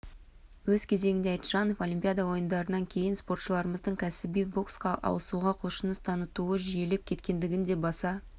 өз кезегінде айтжанов олимпиада ойындарынан кейін спортшылармыздың кәсіби боксқа ауысуға құлшыныс танытуы жиілеп кеткендігін де баса